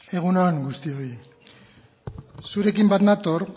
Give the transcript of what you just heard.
egun on guztioi zurekin bat nator